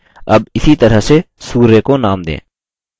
अब इसी तरह से सूर्य को name दें